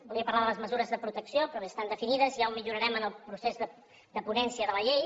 volia parlar de les mesures de protecció però bé estan definides ja ho millorarem en el procés de ponència de la llei